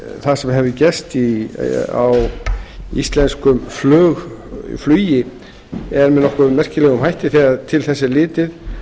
það sem hefur gerst í íslensku flugi sé nokkuð merkilegt þegar til þess er litið